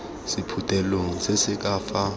sephuthelong se se ka fa